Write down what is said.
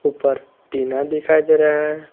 ऊपर टीना दिखाई दे रहा है।